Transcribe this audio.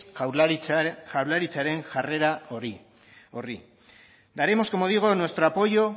jaurlaritzaren jarrera horri daremos como digo nuestro apoyo